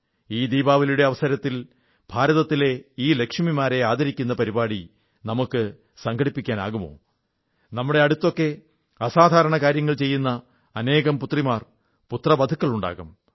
ഈ ദീപാവലിയുടെ അവസരത്തിൽ ഭാരതത്തിലെ ഈ ലക്ഷ്മിമാരെ ആദരിക്കുന്ന പരിപാടി സംഘടിപ്പിക്കാമോ നമ്മുടെ അടുത്തൊക്കെ അസാധാരണ കാര്യങ്ങൾ ചെയ്യുന്ന അനേകം പുത്രിമാർ പുത്രവധുക്കളുണ്ടാകും